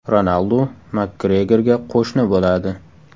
Ronaldu Makgregorga qo‘shni bo‘ladi.